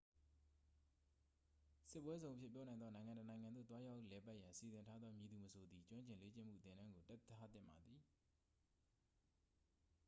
စစ်ပွဲဇုန်အဖြစ် ပြောနိုင်သောနိုင်ငံတစ်နိုင်ငံသို့ သွားရောက်လည်ပတ်ရန်စီစဉ်ထားသော မည်သူမဆိုသည် ကျွမ်းကျင်လေ့ကျင့်မှုသင်တန်းကို တက်ထားသင့်ပါသည်